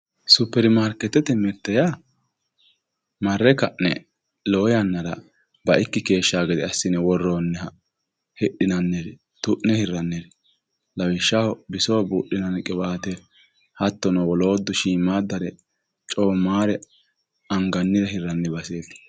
superimarkeetete mirte yaa marre ka'ne lowo yannara baikki keeshshanno gede assine worroonniha hidhinanniri tu'ne hirraniri lawishshaho bisoho buudhinanni qiwaate hattono wolootu coommaare angannire hirranni baseeti.